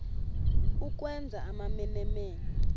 ukwenza amamene mene